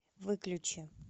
выключи